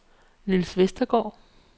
Nils Vestergaard